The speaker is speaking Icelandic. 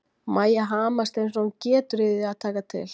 Mæja hamast eins og hún getur í því að taka til.